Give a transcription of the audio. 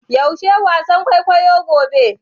Yaushe wasan kwaikwayo gobe?